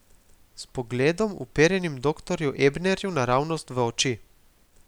S pogledom, uperjenim doktorju Ebnerju naravnost v oči.